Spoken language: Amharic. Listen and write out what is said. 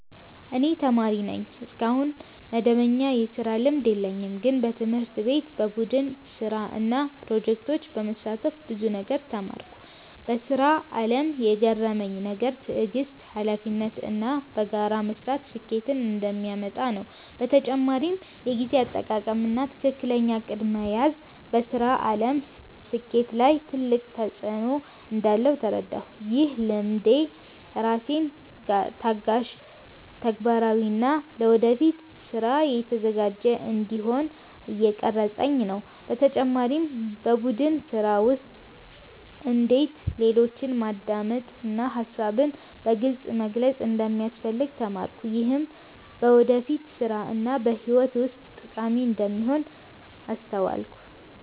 እኔ ተማሪ ነኝ፣ እስካሁን መደበኛ የስራ ልምድ የለኝም። ግን በትምህርት ቤት በቡድን ስራ እና ፕሮጀክቶች በመሳተፍ ብዙ ነገር ተማርኩ። በስራ አለም የገረመኝ ነገር ትዕግስት፣ ሀላፊነት እና በጋራ መስራት ስኬትን እንደሚያመጣ ነው። በተጨማሪም የጊዜ አጠቃቀም እና ትክክለኛ እቅድ መያዝ በስራ አለም ስኬት ላይ ትልቅ ተፅዕኖ እንዳለው ተረዳሁ። ይህ ልምድ ራሴን ታጋሽ፣ ተግባራዊ እና ለወደፊት ስራ የተዘጋጀ እንዲሆን እየቀረፀኝ ነው። በተጨማሪም በቡድን ስራ ውስጥ እንዴት ሌሎችን ማዳመጥ እና ሀሳብን በግልፅ መግለጽ እንደሚያስፈልግ ተማርኩ። ይህም በወደፊት ስራ እና በህይወት ውስጥ ጠቃሚ እንደሚሆን አስተዋልኩ።